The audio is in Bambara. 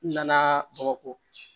N nana bamakɔ